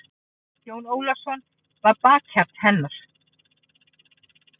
Jón Ólafsson var bakhjarl hennar.